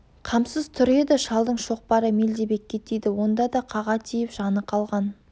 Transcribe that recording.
қамсыз тұр еді шалдың шоқпары мелдебекке тиді онда да қаға тиіп жаны қалған